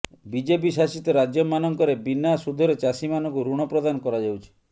BJP ଶାସିତ ରାଜ୍ୟମାନଙ୍କରେ ବିନା ସୁଧରେ ଚାଷୀମାନଙ୍କୁ ଋଣପ୍ରଦାନ କରାଯାଉଛି